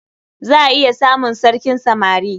Za a iya samun sarkin samari.